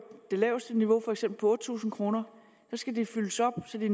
det laveste niveau for eksempel på tusind kr skal der fyldes op til de